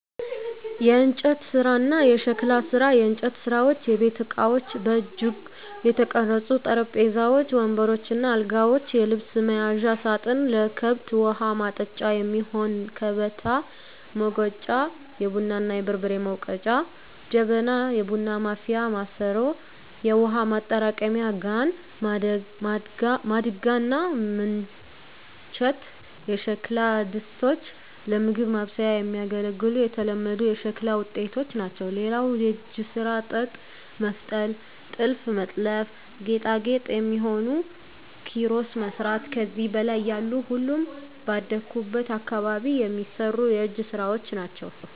**የእንጨት ስራ እና የሸክላ ስራ፦ *የእንጨት ስራዎች * የቤት እቃዎች: በእጅ የተቀረጹ ጠረጴዛዎች፣ ወንበሮች እና አልጋዎች፣ የልብስ መያዣ ሳጥን፣ ለከብት ውሀ ማጠጫ የሚሆን ከበታ፣ ሙገጫ(የቡና እና የበርበሬ መውገጫ) ጀበና (የቡና ማፍያ ማሰሮ)፣ የውሃ ማጠራቀሚያ ጋን፣ ማድጋ እና ምንቸት የሸክላ ድስቶች ለምግብ ማብሰያ የሚያገለግሉ የተለመዱ የሸክላ ውጤቶች ናቸው። *ሌላው የእጅ ስራ ጥጥ መፍተል *ጥልፍ መጥለፍ *ለጌጣጌጥ የሚሆኑ ኪሮስ መስራት ከዚህ በላይ ያሉ ሁሉም ባደኩበት አካባቢ የሚሰሩ የእጅ ስራወች ናቸው።